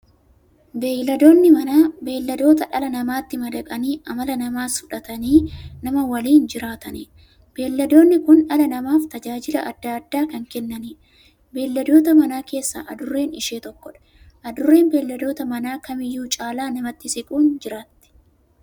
Beeyladoonni Manaa beeyladoota dhala namaatti madaqanii amala namaas fudhatanii, nama waliin jiraataniidha. Beeyladoonni kun dhala namaaf tajaajila adda addaa kan kennaniidha. Beeyladoota Manaa keessaa Adurreen ishee tokkodha. Adurreen beeyladoota Manaa kamiyyuu caala namatti siquun jiraatti.